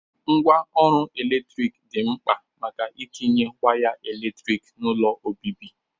Ngwa ọrụ eletrik dị mkpa maka itinye waya eletrik n'ụlọ obibi.